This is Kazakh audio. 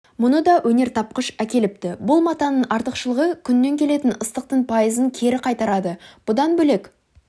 мұны да өнертапқыш әкеліпті бұл матаның артықшылығы күннен келетін ыстықтың пайызын кері қайтарады бұдан бөлек